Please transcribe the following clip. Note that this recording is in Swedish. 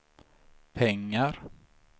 pengar